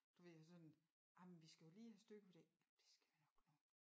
Du ved jo sådan jamen vi skal jo lige have styr på det det jamen de skal a nok nå